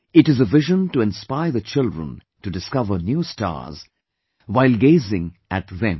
It is a vision to inspire the children to discover new stars, while gazing at them